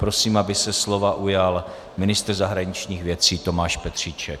Prosím, aby se slova ujal ministr zahraničních věcí Tomáš Petříček.